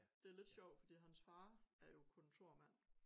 Det lidt sjovt fordi hans far er jo kontormand